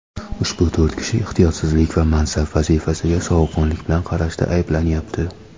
Ushbu to‘rt kishi ehtiyotsizlik va mansab vazifasiga sovuqqonlik bilan qarashda ayblanyapti.